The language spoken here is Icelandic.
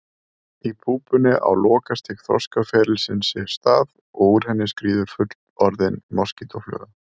Í púpunni á lokastig þroskaferilsins sér stað og úr henni skríður fullorðin moskítófluga.